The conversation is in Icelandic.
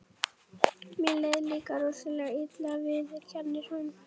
Mér leið líka rosalega illa, viðurkennir hún.